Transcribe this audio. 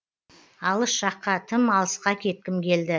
алыс жаққа тым алысқа кеткім келді